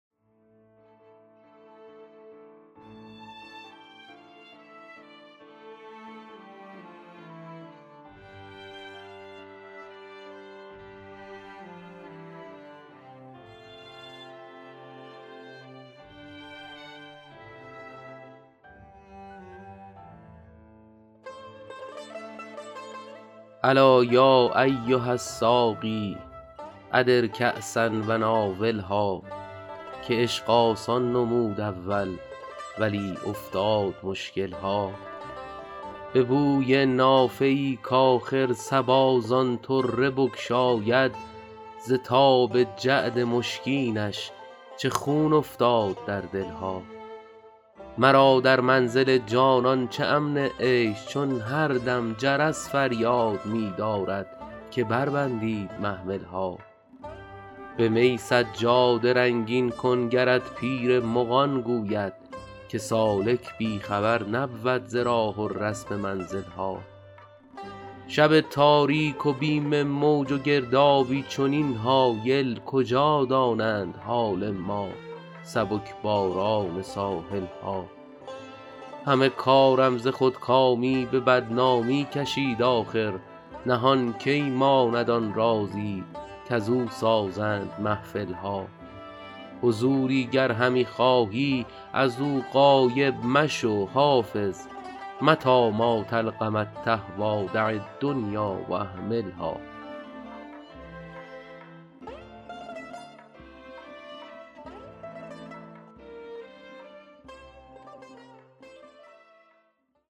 الا یا ایها الساقی ادر کأسا و ناولها که عشق آسان نمود اول ولی افتاد مشکل ها به بوی نافه ای کآخر صبا زان طره بگشاید ز تاب جعد مشکینش چه خون افتاد در دل ها مرا در منزل جانان چه امن عیش چون هر دم جرس فریاد می دارد که بربندید محمل ها به می سجاده رنگین کن گرت پیر مغان گوید که سالک بی خبر نبود ز راه و رسم منزل ها شب تاریک و بیم موج و گردابی چنین هایل کجا دانند حال ما سبک باران ساحل ها همه کارم ز خودکامی به بدنامی کشید آخر نهان کی ماند آن رازی کزو سازند محفل ها حضوری گر همی خواهی از او غایب مشو حافظ متیٰ ما تلق من تهویٰ دع الدنیا و اهملها